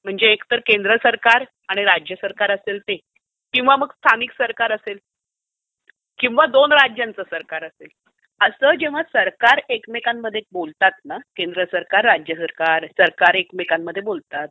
म्हणजे एकतर केंद्र सरकार आणि राज्य सरकार असेल, किंवा मग स्थानिक सरकार असेल, किंवा दोन राज्यांचं सरकार असेल, असं जेव्हा सरकार एकमेकांमध्ये बोलतात ना, म्हणजे केंद्र सरकार - राज्य सरकार, सरकार एकमेकांमध्ये बोलतात,